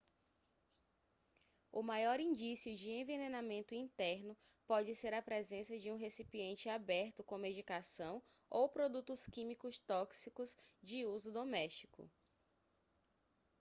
o maior indício de envenenamento interno pode ser a presença de um recipiente aberto com medicação ou produtos químicos tóxicos de uso doméstico